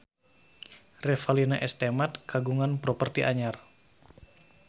Revalina S. Temat kagungan properti anyar